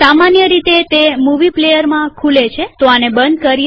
સામાન્ય રીતે તે મુવી પ્લેઅરમાં ખુલે છેઆને બંધ કરીએ